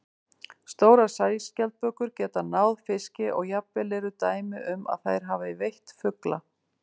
Stórar sæskjaldbökur geta náð fiski og jafnvel eru dæmi um að þær hafi veitt fugla.